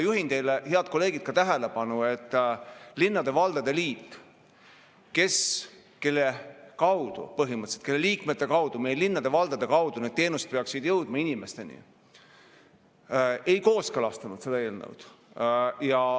Juhin teie tähelepanu, head kolleegid, et linnade ja valdade liit, kelle kaudu, põhimõtteliselt kelle liikmete kaudu, meie linnade ja valdade kaudu need teenused peaksid inimesteni jõudma, ei kooskõlastanud seda eelnõu.